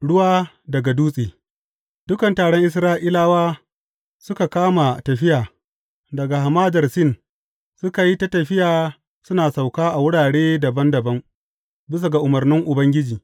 Ruwa daga dutse Dukan taron Isra’ilawa suka kama tafiya daga Hamadar Sin, suka yi ta tafiya suna sauka a wurare dabam dabam bisa ga umarnin Ubangiji.